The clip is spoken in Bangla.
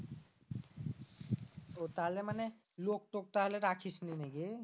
ও তালে মানে লোকটোক তাহলে রাখিস নি নাকি?